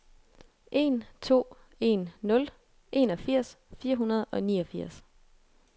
en to en nul enogfirs fire hundrede og niogfirs